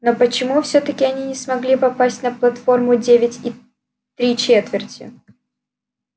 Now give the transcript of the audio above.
но почему всё-таки они не смогли попасть на платформу девять и три четверти